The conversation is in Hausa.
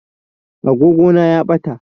Agogona ya ɓata